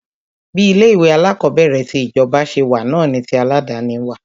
Bí ilé ìwé alákọ̀berẹ̀ ti ìjọba ṣe wà náà ni tí aládàni wà.